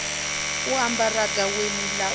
u ambara gaweni ḽa u